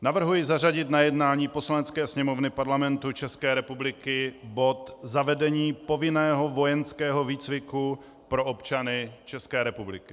Navrhuji zařadit na jednání Poslanecké sněmovny Parlamentu České republiky bod zavedení povinného vojenského výcviku pro občany České republiky.